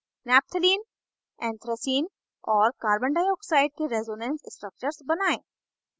3 naphthalene naphthalene anthracene anthracene और carbon dioxide के resonance structures बनायें